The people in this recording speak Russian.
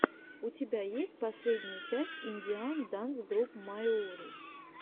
у тебя есть последняя часть индиан данс груп майури